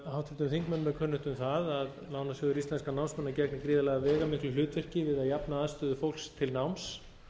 háttvirtum þingmönnum er kunnugt um að lánasjóður íslenskra námsmanna gegnir gríðarlega veigamiklu hlutverki við að jafna aðstöðu fólks til náms